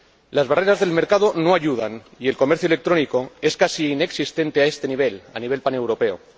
Las barreras del mercado no ayudan y el comercio electrónico es casi inexistente a este nivel, a nivel paneuropeo.